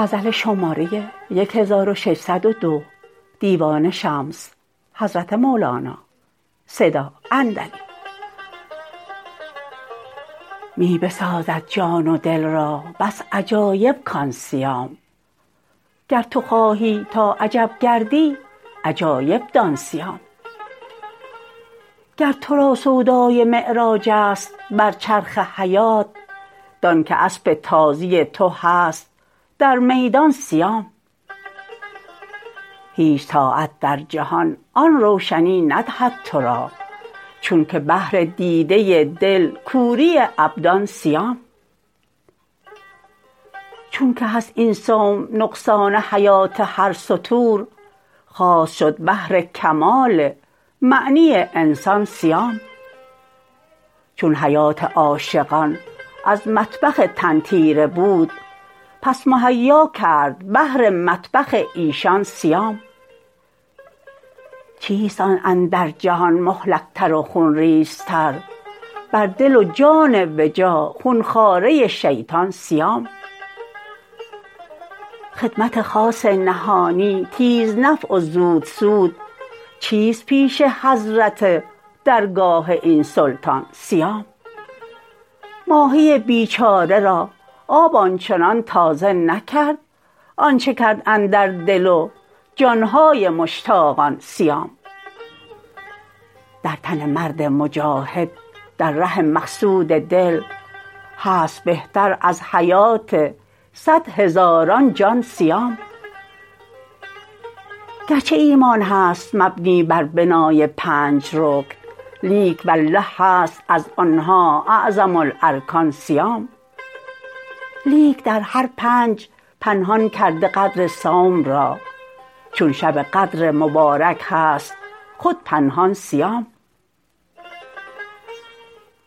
می بسازد جان و دل را بس عجایب کان صیام گر تو خواهی تا عجب گردی عجایب دان صیام گر تو را سودای معراج است بر چرخ حیات دانک اسب تازی تو هست در میدان صیام هیچ طاعت در جهان آن روشنی ندهد تو را چونک بهر دیده دل کوری ابدان صیام چونک هست این صوم نقصان حیات هر ستور خاص شد بهر کمال معنی انسان صیام چون حیات عاشقان از مطبخ تن تیره بود پس مهیا کرد بهر مطبخ ایشان صیام چیست آن اندر جهان مهلکتر و خون ریزتر بر دل و جان و جا خون خواره شیطان صیام خدمت خاص نهانی تیزنفع و زودسود چیست پیش حضرت درگاه این سلطان صیام ماهی بیچاره را آب آن چنان تازه نکرد آنچ کرد اندر دل و جان های مشتاقان صیام در تن مرد مجاهد در ره مقصود دل هست بهتر از حیات صد هزاران جان صیام گرچه ایمان هست مبنی بر بنای پنج رکن لیک والله هست از آن ها اعظم الارکان صیام لیک در هر پنج پنهان کرده قدر صوم را چون شب قدر مبارک هست خود پنهان صیام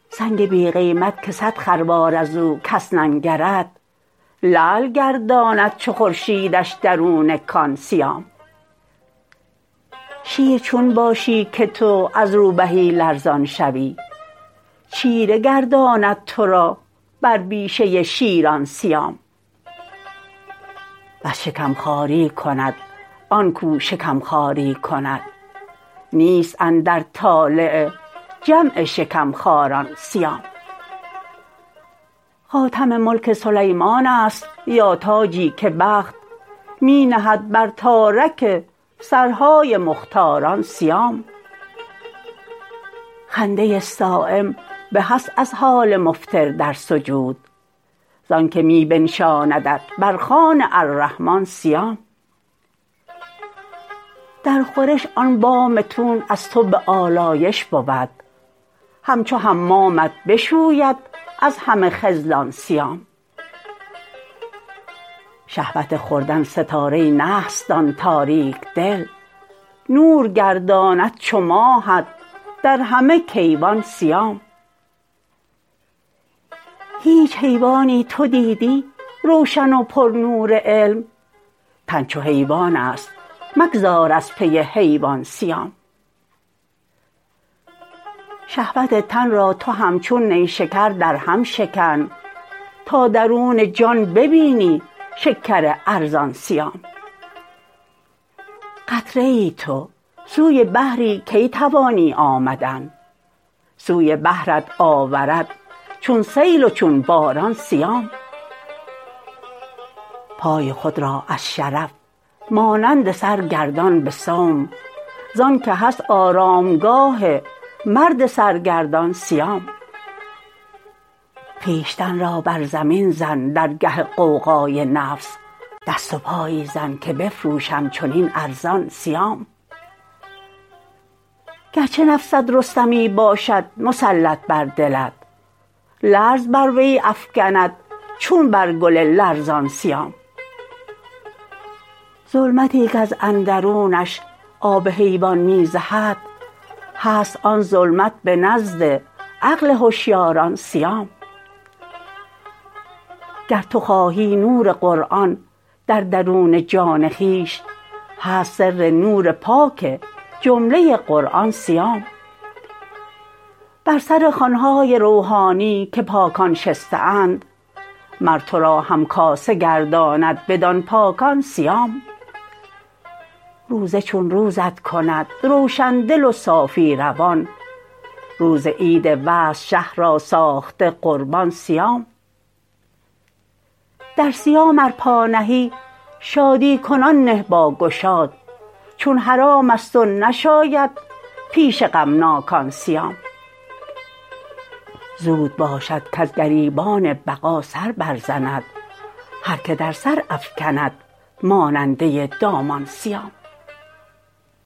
سنگ بی قیمت که صد خروار از او کس ننگرد لعل گرداند چو خورشیدش درون کان صیام شیر چون باشی که تو از روبهی لرزان شوی چیره گرداند تو را بر بیشه شیران صیام بس شکم خاری کند آن کو شکم خواری کند نیست اندر طالع جمع شکم خواران صیام خاتم ملک سلیمان است یا تاجی که بخت می نهد بر تارک سرهای مختاران صیام خنده صایم به است از حال مفطر در سجود زانک می بنشاندت بر خوان الرحمان صیام در خورش آن بام تون از تو به آلایش بود همچو حمامت بشوید از همه خذلان صیام شهوت خوردن ستاره نحس دان تاریک دل نور گرداند چو ماهت در همه کیوان صیام هیچ حیوانی تو دیدی روشن و پرنور علم تن چو حیوان است مگذار از پی حیوان صیام شهوت تن را تو همچون نیشکر درهم شکن تا درون جان ببینی شکر ارزان صیام قطره ای تو سوی بحری کی توانی آمدن سوی بحرت آورد چون سیل و چون باران صیام پای خود را از شرف مانند سر گردان به صوم زانک هست آرامگاه مرد سرگردان صیام خویشتن را بر زمین زن در گه غوغای نفس دست و پایی زن که بفروشم چنین ارزان صیام گرچه نفست رستمی باشد مسلط بر دلت لرز بر وی افکند چون بر گل لرزان صیام ظلمتی کز اندرونش آب حیوان می زهد هست آن ظلمت به نزد عقل هشیاران صیام گر تو خواهی نور قرآن در درون جان خویش هست سر نور پاک جمله قرآن صیام بر سر خوان های روحانی که پاکان شسته اند مر تو را همکاسه گرداند بدان پاکان صیام روزه چون روزت کند روشن دل و صافی روان روز عید وصل شه را ساخته قربان صیام در صیام ار پا نهی شادی کنان نه با گشاد چون حرام است و نشاید پیش غمناکان صیام زود باشد کز گریبان بقا سر برزند هر که در سر افکند ماننده دامان صیام